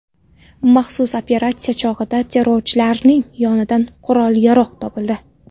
Maxsus operatsiya chog‘ida terrorchilarning yonidan qurol-yarog‘ topildi.